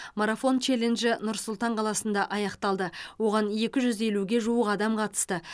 марафон челленджі нұр сұлтан қаласында аяқталды оған екі жүз елуге жуық адам қатысты